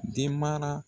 Den mara